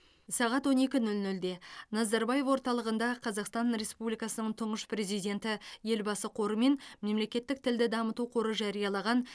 сағат он екі нөл нөлде назарбаев орталығында қазақстан республикасының тұңғыш президенті елбасы қоры мен мемлекеттік тілді дамыту қоры жариялаған